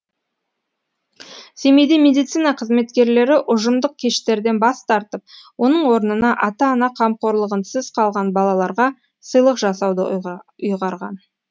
семейде медицина қызметкерлері ұжымдық кештерден бас тартып оның орнына ата ана қамқорлығынсыз қалған балаларға сыйлық жасауды ұйғарған